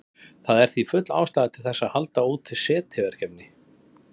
Það er því full ástæða til þess að halda úti SETI-verkefni.